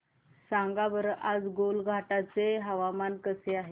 सांगा बरं आज गोलाघाट चे हवामान कसे आहे